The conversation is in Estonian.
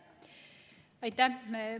Aitäh!